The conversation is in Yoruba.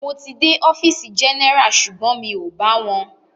Mo ti dé ọfìsì general sugbon mi o bá wọn.